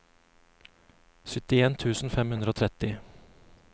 syttien tusen fem hundre og tretti